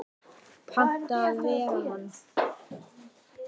Panta að vera hann.